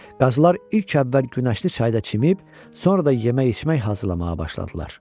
Qazılar ilk əvvəl Günəşli çayda çimib, sonra da yemək içmək hazırlamağa başladılar.